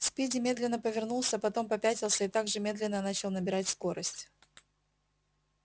спиди медленно повернулся потом попятился и так же медленно начал набирать скорость